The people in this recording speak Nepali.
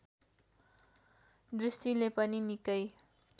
दृष्टिले पनि निकै